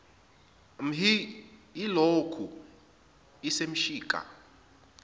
mhsi iyilokhu isemshika